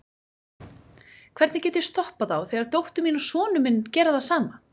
Hvernig get ég stoppað þá þegar dóttir mín og sonur minn gera það sama?